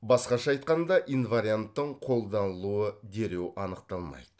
басқаша айтқанда инварианттың қолданылуы дереу анықталмайды